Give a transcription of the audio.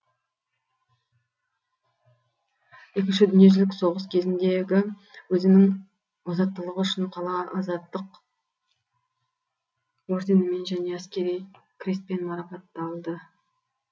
екінші дүниежүзілік соғыс кезіндегі өзінің озаттылығы үшін қала азаттық орденімен және әскери крестпен марапатталды